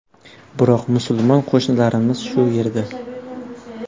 Biroq musulmon qo‘shnilarimiz shu yerda.